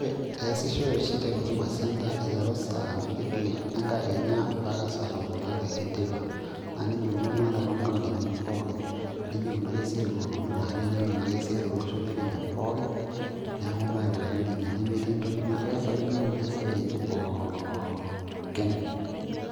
Eesishoy oshi te huduma centre aiteru saa mbili enkakenya mpaka saa tomon aare enteipa naa nejia ikununo ata toonkauntini pookin nejia ikunari esiai pookin aa kenyaanyuk naake esiai tolosho le kenya pooki neeku naa aikunari nejia nemetii entoki naa keesakini oltung'ani esiai enye pookin.